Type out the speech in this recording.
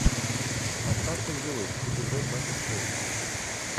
остаться в живых эпизод двадцать шесть